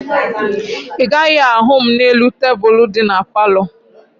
Ị gaghị ahụ m n'elu tebulu dị na palọ